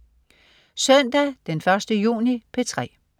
Søndag den 1. juni - P3: